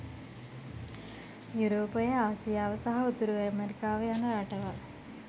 යුරෝපය ආසියාව සහ උතුරු ඇමෙරිකාව යන රටවල්